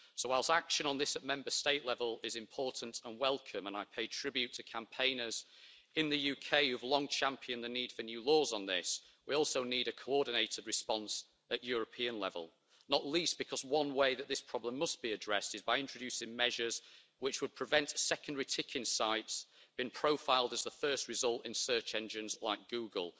So whilst action on this at Member State level is important and welcome and I pay tribute to campaigners in the UK who've long championed the need for new laws on this we also need a coordinated response at European level, not least because one way that this problem must be addressed is by introducing measures which would prevent secondary ticket sites being profiled as the first result in search engines like Google.